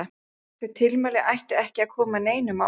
Þau tilmæli ættu ekki að koma neinum á óvart.